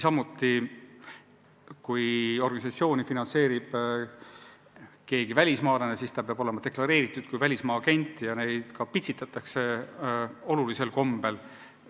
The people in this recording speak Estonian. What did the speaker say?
Ja kui organisatsiooni finantseerib keegi välismaalane, siis ta peab olema deklareeritud kui välismaa agent ja neid pitsitatakse koledal kombel.